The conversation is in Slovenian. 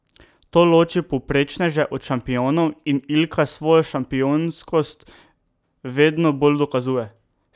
To loči povprečneže od šampionov in Ilka svojo šampionskost vedno bolj dokazuje.